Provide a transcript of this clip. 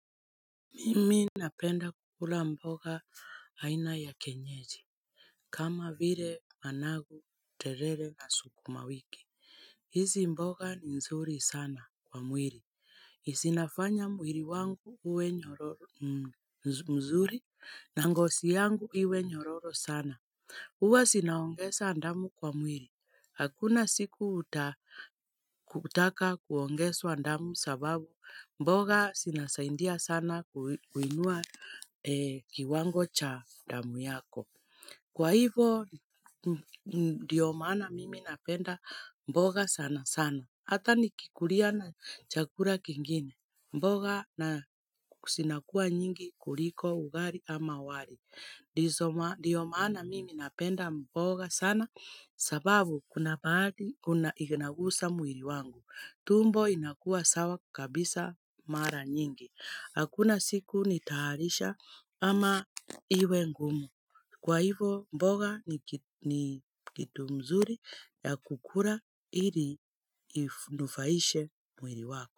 Mimi napenda kukula mboga aina ya kienyeji kama vile managu terere na sukuma wiki hizi mboga ni nzuri sana kwa mwili zinafanya mwili wangu uwe nyororo mzuri na ngozi yangu iwe nyororo sana huwa zinaongeza damu kwa mwili. Hakuna siku utataka kuongezwa damu sababu mboga zinasaidia sana kuinua kiwango cha damu yako. Kwa hivyo, ndio maana mimi napenda mboga sana sana. Hata nikikulia na chakula kingine. Mboga zinakuwa nyingi kuliko ugali ama wali. Ndio maana mimi napenda mboga sana sababu kuna baadhi inagusa mwili wangu. Tumbo inakuwa sawa kabisa mara nyingi. Hakuna siku nitaharisha ama iwe ngumu. Kwa hivo mboga ni kitu mzuri ya kukula ili inufaishe mwili wako.